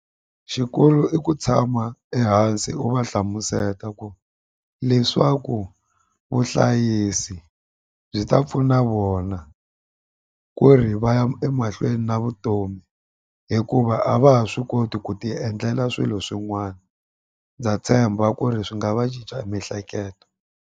Xikulu i ku tshama ehansi u va hlamuseta ku leswaku vuhlayisi byi ta pfuna vona ku ri va ya emahlweni na vutomi hikuva a va ha swi koti ku ti endlela swilo swin'wana ndza tshemba ku ri swi nga va cinca miehleketo.